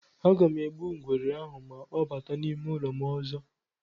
Aga m egbu ngwere ahụ ma ọ bata n'ime ụlọ m ọzọ.